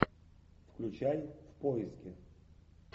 включай в поиске